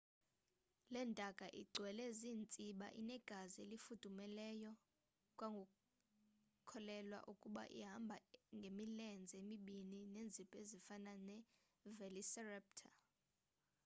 le ntaka igcwele ziintsiba inegazi elifudumeleyo kwakukholelwa ukuba ihamba e ngemilenze emibini neenzipho ezifana nevelociraptor